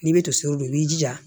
N'i bɛ tosi don i b'i jija